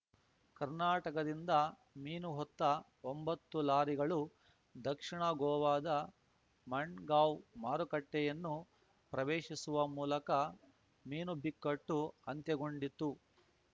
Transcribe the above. ಕರ್ನಾಟಕದಿಂದ ಮೀನು ಹೊತ್ತ ಒಂಬತ್ತು ಲಾರಿಗಳು ದಕ್ಷಿಣ ಗೋವಾದ ಮಂಡ್ ಗಾಂವ್‌ ಮಾರುಕಟ್ಟೆಯನ್ನು ಪ್ರವೇಶಿಸುವ ಮೂಲಕ ಮೀನು ಬಿಕ್ಕಟ್ಟು ಅಂತ್ಯಗೊಂಡಿತು